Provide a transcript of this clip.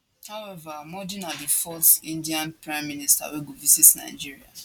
however modi na di fourth indian prime minister wey go visit nigeria